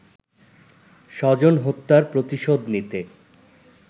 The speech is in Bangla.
স্বজন হত্যার প্রতিশোধ নিতে